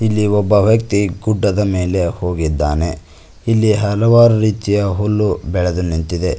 ಇಲ್ಲಿ ಒಬ್ಬ ವ್ಯಕ್ತಿ ಗುಡ್ಡದ ಮೇಲೆ ಹೋಗಿದ್ದಾನೆ ಇಲ್ಲಿ ಹಲವಾರು ರೀತಿಯ ಹುಲ್ಲು ಬೆಳೆದು ನಿಂತಿದೆ.